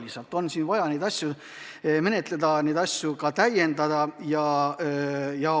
Lihtsalt on siin vaja neid asju menetleda, teatud seadusi täiendada.